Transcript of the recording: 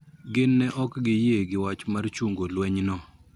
Gin ne ok giyie gi wach mar chungo lweny no